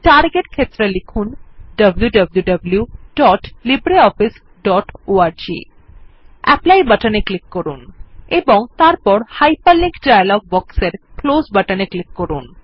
target ক্ষেত্রে লিখুন wwwlibreofficeorg apply বাটনে ক্লিক করুন এবং তারপর হাইপারলিংক ডায়লগ বক্সের ক্লোজ বাটনে ক্লিক করুন